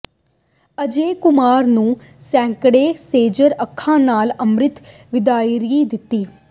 ਅਜੇ ਕੁਮਾਰ ਨੂੰ ਸੈਂਕੜੇ ਸੇਜਲ ਅੱਖਾਂ ਨਾਲ ਅੰਤਿਮ ਵਿਦਾਇਗੀ ਦਿੱਤੀ